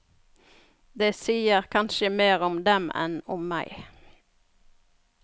Det sier kanskje mer om dem enn om meg.